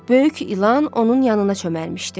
Böyük İlan onun yanına çöməlmişdi.